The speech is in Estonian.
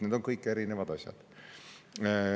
Need on kõik erinevad asjad.